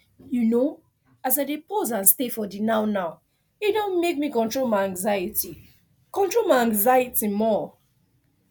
you know as i dey pause and stay for the nownow e don make me control my anxiety control my anxiety more